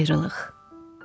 Ayrılıq.